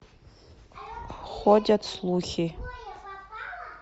ходят слухи